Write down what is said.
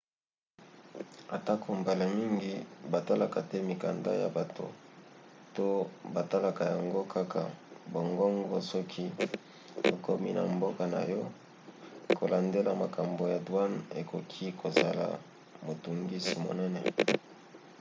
atako mbala mingi batalaka te mikanda ya bato to batalaka yango kaka bongobongo soki okomi na mboka na yo kolandela makambo ya douane ekoki kozala motungisi monene